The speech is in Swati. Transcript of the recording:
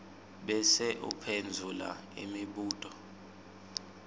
bese uphendvula imibuto